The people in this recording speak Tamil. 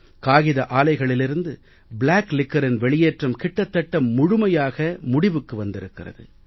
காகித ஆலைகளிலிருந்து பிளாக் liquorஇன் வெளியேற்றம் கிட்டத்தட்ட முழுமையாக முடிவுக்கு வந்திருக்கிறது